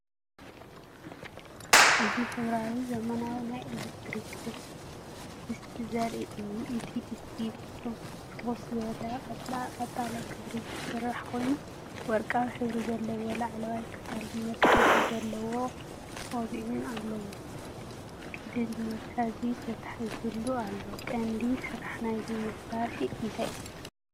እዚ ሕብራዊ ዘመናዊ ናይ ኤሌክትሪክ ድስቲ ዘርኢ እዩ። እቲ ድስቲ ብፍኹስ ዝበለ ቀጠልያ ሕብሪ ዝተሰርሐ ኮይኑ፡ ወርቃዊ ሕብሪ ዘለዎ ላዕለዋይ ክፋልን መትሓዚ ዘለዎ ቆቢዕን ኣለዎ። ቀሊል መትሓዚ ተተሓሒዙሉ ኣሎ። ቀንዲ ስራሕ ናይዚ መሳርሒ እንታይ እዩ?